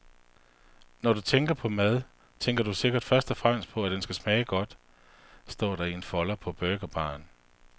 Når du tænker på mad, tænker du sikkert først og fremmest på, at den skal smage godt, står der i en folder på burgerbaren.